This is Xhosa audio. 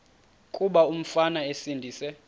kuba umfana esindise